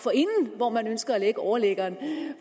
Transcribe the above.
hvor man ønsker at overliggeren